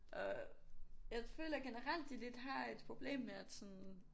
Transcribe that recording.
Og jeg føler generelt de lidt har et problem med at sådan